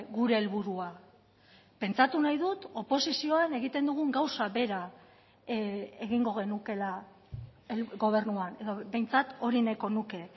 gure helburua pentsatu nahi dut oposizioan egiten dugun gauza bera egingo genukeela gobernuan edo behintzat hori nahiko nuke